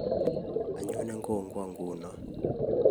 Anyone kongwong nguno